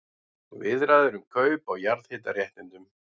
Viðræður um kaup á jarðhitaréttindum